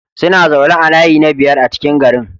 Suna zaune a layi na biyar a cikin garin.